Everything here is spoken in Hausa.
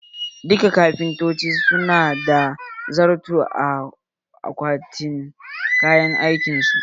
Duka kafintoci su na da zarto a akwatin kayan aikin su.